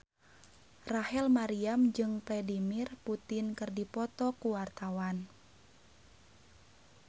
Rachel Maryam jeung Vladimir Putin keur dipoto ku wartawan